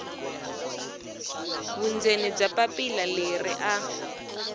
vundzeni bya papila leri a